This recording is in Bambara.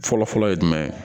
Fɔlɔfɔlɔ ye jumɛn ye